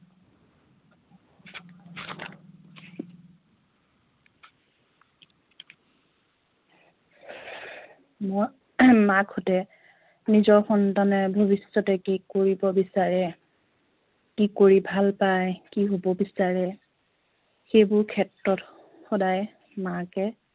মাকহঁতে নিজৰ সন্তানে ভৱিষ্য়তে কি কৰিব বিচাৰে কি কৰি ভাল পায় কি হব বিচাৰে সেইবোৰ ক্ষেত্ৰত সদায় মাকে